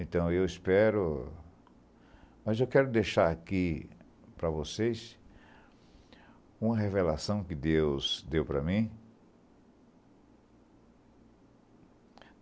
Então, eu espero... Mas eu quero deixar aqui para vocês uma revelação que Deus deu para mim.